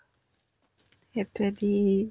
সেটোয়ে কি ?